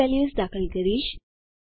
હું values enter કરીશ